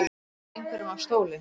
Að steypa einhverjum af stóli